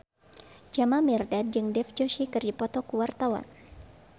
Jamal Mirdad jeung Dev Joshi keur dipoto ku wartawan